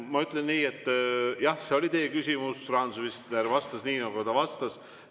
Ma ütlen nii, et jah, see oli teie küsimus, rahandusminister vastas nii, nagu ta vastas.